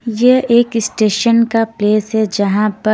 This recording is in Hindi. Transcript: यह एक स्टेशन का प्लेस है जहाँ पर --